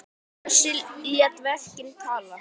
Bjössi lét verkin tala.